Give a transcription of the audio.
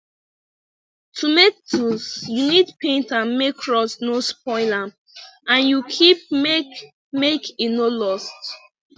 to make tools you need paint am make rust no spoil am and you keep make make e no lost